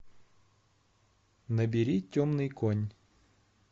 набери темный конь